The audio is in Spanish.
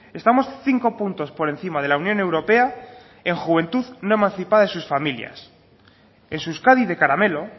estamos cinco puntos por encima de la unión europea en juventud no emancipada de sus familias en su euskadi de caramelo